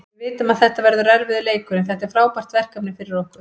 Við vitum að þetta verður erfiður leikur, en þetta er frábært verkefni fyrir okkur.